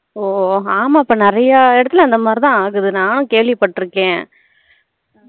ஓ ஆமா இப்போ நிறைய எடத்துல அந்த மாதிரி தான் ஆகுது நானும் கேள்வி பட்டுருக்கேன்